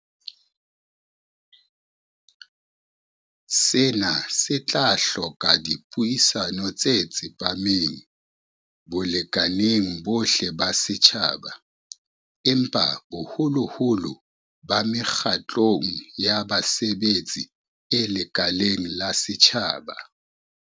Sena se tla hloka dipuisano tse tsepameng balekaneng bohle ba setjhaba, empa haholoholo ba mekgatlong ya basebetsi e lekaleng la setjhaba.